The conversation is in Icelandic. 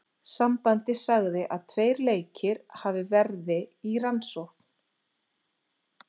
Sambandið sagði að tveir leikir hafi verði í rannsókn.